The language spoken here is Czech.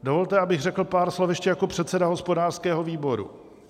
Dovolte, abych řekl pár slov ještě jako předseda hospodářského výboru.